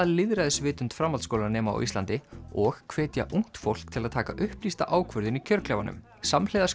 lýðræðisvitund framhaldsskólanema á Íslandi og hvetja ungt fólk til að taka upplýsta ákvörðun í kjörklefanum samhliða